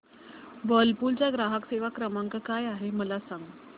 Whirlpool चा ग्राहक सेवा क्रमांक काय आहे मला सांग